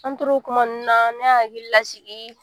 An tora o kuma na ne y'a hakili lasigi